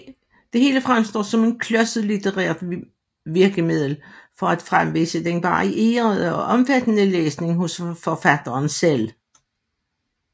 Det hele fremstår som et klodset litterært virkemiddel for at fremvise den varierede og omfattende læsning hos forfatteren selv